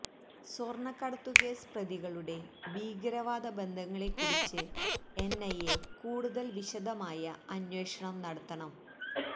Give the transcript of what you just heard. സ്വര്ണക്കടത്തുകേസ് പ്രതികളുടെ ഭീകരവാദ ബന്ധങ്ങളെ ക്കുറിച്ച് എന്ഐഎ കൂടുതല് വിശദമായ അന്വേഷണം നടത്തണം